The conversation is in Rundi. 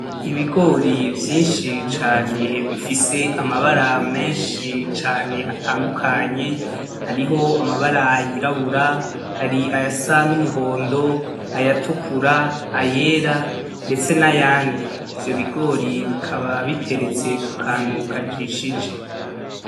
Ibigori vyinshi cane bifise amabara menshi cane atandukanye, hariho amabara y'irabura hari ayasa n'umuhondo, ay'atukura, ayera ndetse nayandi, ivyo bigori bikaba biteretse kukantu kajishije.